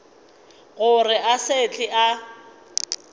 gore a se tle a